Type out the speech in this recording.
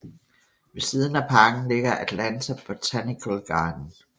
Ved siden af parken ligger Atlanta Botanical Garden